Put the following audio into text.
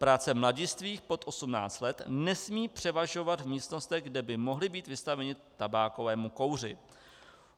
Práce mladistvých pod 18 let nesmí převažovat v místnostech, kde by mohli být vystaveni tabákovému kouři.